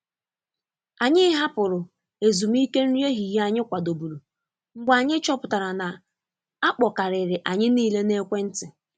Anyị hapụrụ ezumike nri ehihie anyị kwàdòburu mgbe anyị chọpụtara na akpọ karịrị anyị niile na ekwentị.